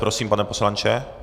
Prosím, pane poslanče.